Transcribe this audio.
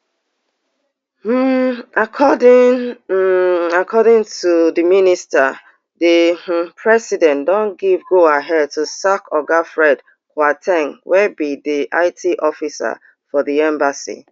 um according um according to di minister di um president don give go ahead to sack oga fred kwar ten g wey be di it officer for di embassy